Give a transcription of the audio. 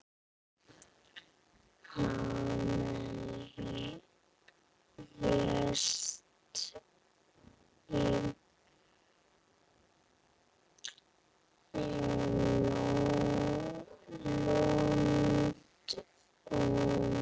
Hann lést í London.